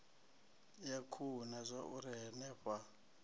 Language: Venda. ya khuhu na zwauri henefha